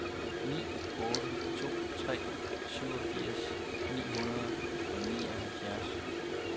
ni otte to tre syvogfirs ni hundrede og nioghalvfjerds